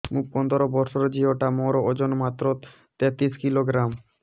ମୁ ପନ୍ଦର ବର୍ଷ ର ଝିଅ ଟା ମୋର ଓଜନ ମାତ୍ର ତେତିଶ କିଲୋଗ୍ରାମ